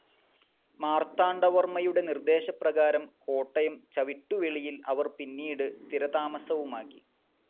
മാർത്താണ്ഡവർമയുടെ നിർദേശപ്രകാരം കോട്ടയം ചവിട്ടുവെളിയിൽ അവർ പിന്നീട് സ്ഥിരതാമസവുമാക്കി.